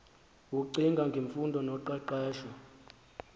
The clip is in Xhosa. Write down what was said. ecinga ngemfundo noqeqesho